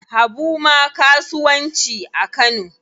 Habu ma kasuwanci a Kano.